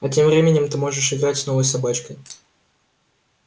а тем временем ты можешь играть с новой собачкой